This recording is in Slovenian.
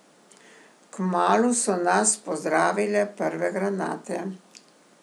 Kmalu so nas pozdravile prve granate.